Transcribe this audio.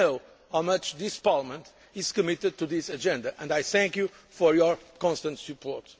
economy. I know how much this Parliament is committed to this agenda, and I thank you for your constant